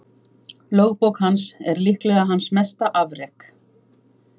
Lögbók hans er líklega hans mesta afrek.